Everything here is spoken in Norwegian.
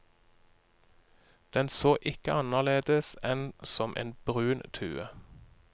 Den så ikke annerledes enn som en brun tue.